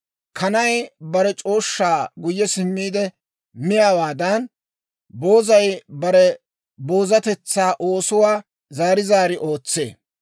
Kanay bare c'ooshshaa guyye simmiide miyaawaadan, boozay bare boozatetsaa oosuwaa zaari zaari ootsee.